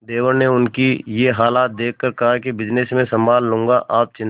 देवर ने उनकी ये हालत देखकर कहा कि बिजनेस मैं संभाल लूंगा आप चिंता